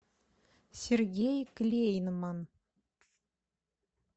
сергей клейнман